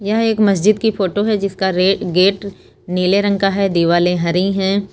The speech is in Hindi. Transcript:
यह एक मस्जिद की फोटो है जिसका गेट नीले रंग का है दीवाले हरी है।